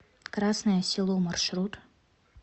красное село маршрут